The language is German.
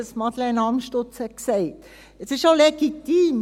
Das ist auch legitim;